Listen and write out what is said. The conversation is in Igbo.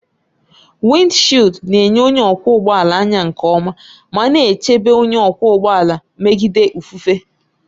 Wịndshiịldi na-enye onye ọkwọ ụgbọ ala anya nke ọma ma na-echebe onye ọkwọ ụgbọ ala megide ifufe.